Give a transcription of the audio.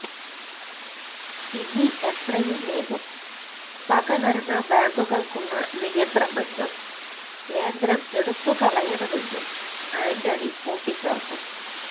ഇനി എത്രയും വേഗം സഹകരണ ബാങ്കുകള്ക്കുള്ള നിയന്ത്രണങ്ങള് കേന്ദ്രം എടുത്തുകളയണമെന്നും ആന്റണി കൂട്ടിച്ചേര്ത്തു